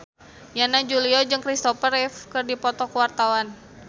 Yana Julio jeung Christopher Reeve keur dipoto ku wartawan